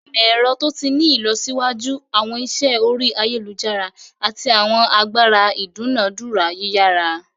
Imọ-ẹrọ to ti ni ilọsiwaju, awọn iṣẹ ori ayelujara, ati awọn agbara idunadura yiyara.